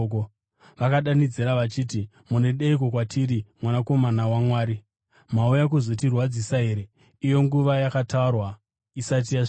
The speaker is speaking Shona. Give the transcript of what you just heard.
Vakadanidzira vachiti, “Munodeiko kwatiri, Mwanakomana waMwari? Mauya kuzotirwadzisa here iyo nguva yakatarwa isati yasvika?”